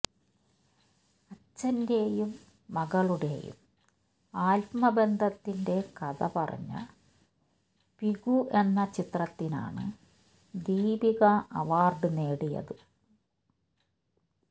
അച്ഛന്റെയും മകളുടെയും ആത്മബന്ധത്തിന്റെ കഥ പറഞ്ഞ പികു എന്ന ചിത്രത്തിനാണ് ദീപിക അവാർഡ് നേടിയത്